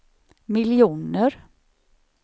miljoner